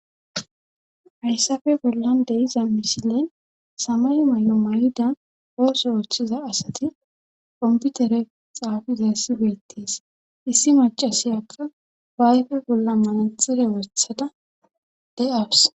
hayssafe bollan deyiza misilen samayo may7o may7ida ooso ooththiza asati qomputere xaafizayssi beettes issi macasiyakka baayfe bolla manaxire wothada de7awus